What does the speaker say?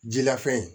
Jilafan in